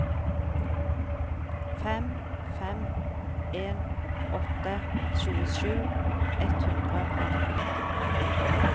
fem fem en åtte tjuesju ett hundre og atten